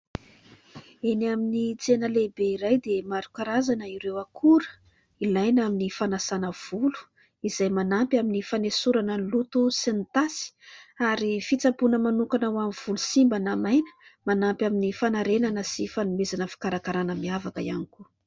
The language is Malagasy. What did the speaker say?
Eny amin'ny tsena lehibe iray dia maro karazana ireo akora ilaina amin'ny fanasana volo izay manampy amin'ny fanesorana loto sy ny tasy ary fitsaboana manokana ho an'ny volo simba na maina, manampy amin'ny fanarenana sy fanomezana fikarakarana miavaka ihany koa.